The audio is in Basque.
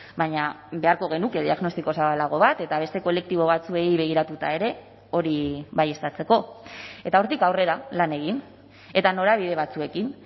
baina beharko genuke diagnostiko zabalago bat eta beste kolektibo batzuei begiratuta ere hori baieztatzeko eta hortik aurrera lan egin eta norabide batzuekin